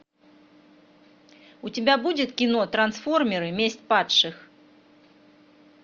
у тебя будет кино трансформеры месть падших